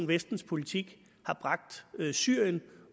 vestens politik har bragt syrien